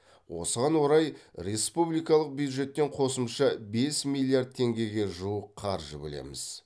осыған орай республикалық бюджеттен қосымша бес миллиард теңгеге жуық қаржы бөлеміз